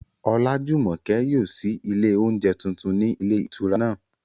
Olájùmọ̀kẹ́ yóò ṣí ilé oúnjẹ tuntun ní ilé ìtura náà